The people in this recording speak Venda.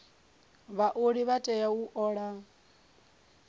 vhaoli vha tea u ola